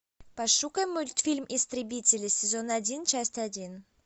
пошукай мультфильм истребители сезон один часть один